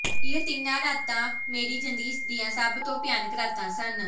ਇਹ ਤਿੰਨ ਰਾਤਾਂ ਮੇਰੀ ਜ਼ਿੰਦਗੀ ਦੀਆਂ ਸਭ ਤੋਂ ਭਿਆਨਕ ਰਾਤਾਂ ਸਨ